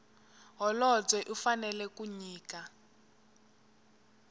holobye u fanela ku nyika